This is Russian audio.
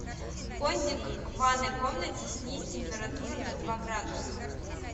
кондик в ванной комнате снизь температуру на два градуса